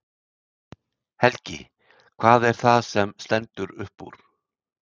Helgi: Hvað er það sem stendur upp úr?